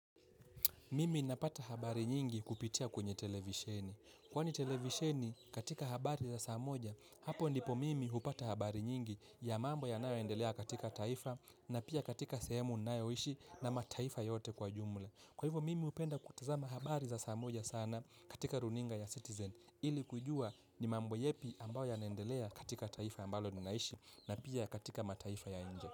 Mimi napata habari nyingi kupitia kwenye televisheni. Kwani televisheni katika habari za saa moja, hapo ndipo mimi hupata habari nyingi ya mambo yanaoendelea katika taifa na pia katika sehemu ninayoishi na mataifa yote kwa jumla. Kwa hivyo mimi hupenda kutazama habari za saa moja sana katika runinga ya Citizen ili kujua ni mambo yepi ambayo yanaendelea katika taifa ambalo ninaishi na pia katika mataifa ya nje.